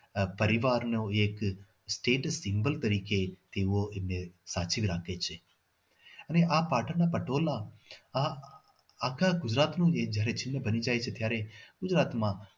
પરિવારનો એક એક status symbol તરીકે એ તેઓ એમને સાચવી રાખે છે અને આ પાટણના પટોળા આ આખા ગુજરાતમાં બની જાય છે ત્યારે ગુજરાતમાં